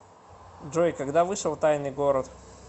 джой когда вышел тайный город